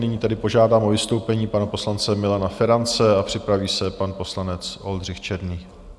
Nyní tedy požádám o vystoupení pana poslance Milana Ferance a připraví se pan poslanec Oldřich Černý.